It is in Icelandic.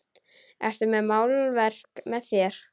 Ertu með málverk með þér?